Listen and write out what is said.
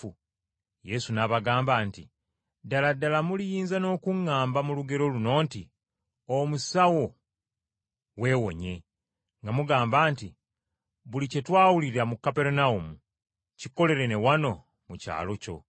Yesu n’abagamba nti, “Ddala ddala muliyinza n’okuŋŋamba mu lugero luno nti, ‘Omusawo, weewonye,’ nga mugamba nti, ‘Buli kye twawulira mu Kaperunawumu, kikolere na wano mu kyalo kyo.’ ”